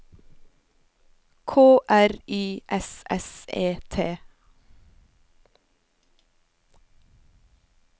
K R Y S S E T